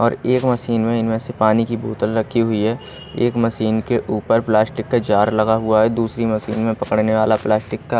और एक मशीन में इनमें से पानी की बोतल रखी हुई है एक मशीन के ऊपर प्लास्टिक का जार लगा हुआ है दूसरी मशीन में पकड़ने वाला प्लास्टिक का--